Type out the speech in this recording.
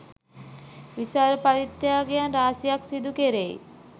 විශාල පරිත්‍යාගයන් රාශියක් සිදු කෙරෙයි.